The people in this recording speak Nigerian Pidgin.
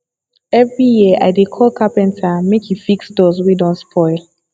every year i dey call carpenter make e fix doors wey don spoil